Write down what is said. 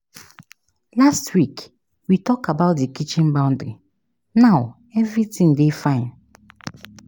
Last week, we tok about di kitchen boundary, now everytin dey fine